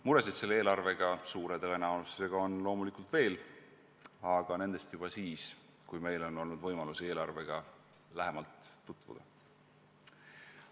Muresid selle eelarve puhul on suure tõenäosusega veel, aga nendest juba siis, kui meil on olnud võimalus eelarvega lähemalt tutvuda.